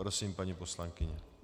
Prosím, paní poslankyně.